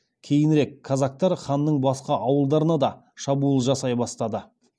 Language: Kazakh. кейінірек қазақтар ханның басқа ауылдарына да шабуыл жасай бастады